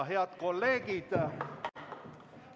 Head kolleegid!